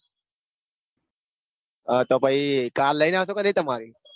અ તો પછી car લઈન આવશો કે નઈ તમારી?